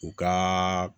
U ka